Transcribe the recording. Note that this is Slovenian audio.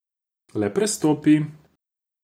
Le prestopi.